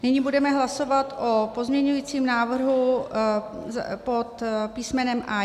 Nyní budeme hlasovat o pozměňujícím návrhu pod písm.